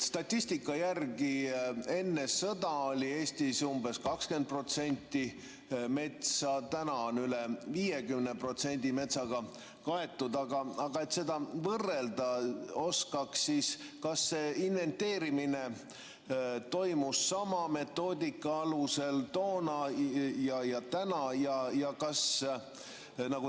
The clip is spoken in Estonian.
Statistika järgi enne sõda oli Eestis umbes 20% metsa, täna on üle 50% metsaga kaetud, aga et seda võrrelda oskaks, siis kas inventeerimine toimus sama metoodika alusel toona ja täna?